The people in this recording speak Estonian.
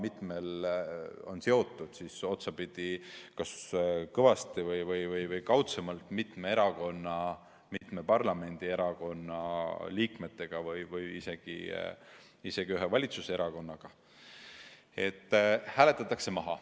Need on tõesti otsapidi olnud seotud kas otse või kaudsemalt mitme parlamendierakonna liikmetega või isegi ühe valitsuserakonnaga.